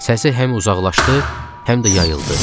Səs həm uzaqlaşdı, həm də yayıldı.